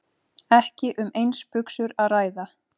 Ekki um eins buxur að ræða